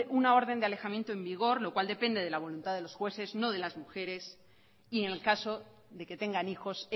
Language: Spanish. una orden de alejamiento en vigor lo cual depende de la voluntad de los jueces no de las mujeres y en el caso de que tengan hijos